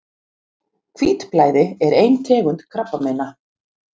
Hvítblæði er ein tegund krabbameina.